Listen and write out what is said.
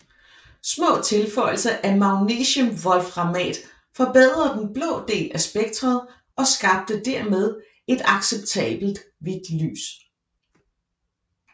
Små tilføjelser af magnesiumwolframat forbedrede den blå del af spektret og skabte dermed et acceptabelt hvidt lys